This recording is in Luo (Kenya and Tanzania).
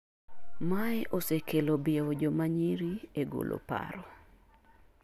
mae osekelo biewo jomanyiri e golo paro